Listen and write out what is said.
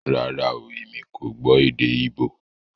Rárá oooo, èmi kò gbó èdè íbò